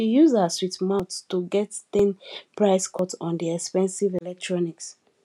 she use her sweet mouth to get ten price cut on di expensive electronics